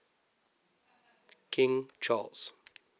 king charles